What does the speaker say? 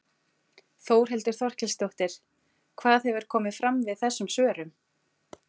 Þórhildur Þorkelsdóttir: Hvað hefur komið fram við þessum svörum?